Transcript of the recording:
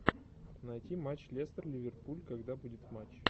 найти матч лестер ливерпуль когда будет матч